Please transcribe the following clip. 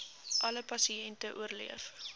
alle pasiënte oorleef